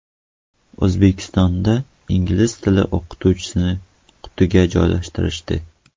O‘zbekistonda ingliz tili o‘qituvchisini qutiga joylashtirishdi.